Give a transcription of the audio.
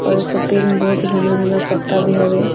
और इ सब पेड़ में बहुत ही घना-घना पत्ता भी हवे।